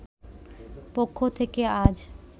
পক্ষ থেকে আজ